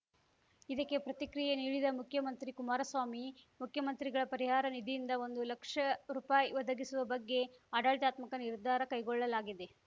ಇದಕ್ಕೆ ಪ್ರತಿಕ್ರಿಯೆ ನೀಡಿದ ಮುಖ್ಯಮಂತ್ರಿ ಕುಮಾರಸ್ವಾಮಿ ಮುಖ್ಯಮಂತ್ರಿಗಳ ಪರಿಹಾರ ನಿಧಿಯಿಂದ ಒಂದು ಲಕ್ಷ ರೂಪಾಯಿ ಒದಗಿಸುವ ಬಗ್ಗೆ ಆಡಳಿತಾತ್ಮಕ ನಿರ್ಧಾರ ಕೈಗೊಳ್ಳಲಾಗಿದೆ